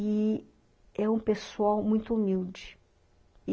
e é um pessoal muito humilde.